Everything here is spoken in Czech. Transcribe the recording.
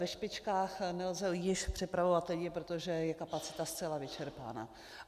Ve špičkách nelze již přepravovat lidi, protože je kapacita zcela vyčerpána.